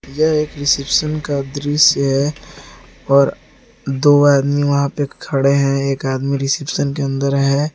यह एक रिसेप्शन का दृश्य है और दो आदमी वहां पे खड़े हैं एक आदमी रिसेप्शन के अंदर है।